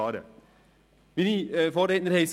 Meine Vorredner haben es gesagt: